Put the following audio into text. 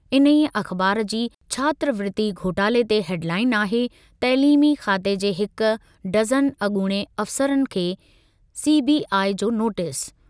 इन्हीअ अख़बार जी छात्रवृति घोटाले ते हेडलाइन आहे- तइलीमी खाते जे हिक डज़न अॻूणे अफ़सरनि खे सीबीआई जो नोटिस।